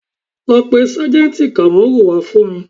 Lọ pé sájẹ̀ǹtì Kamoru wá fún mi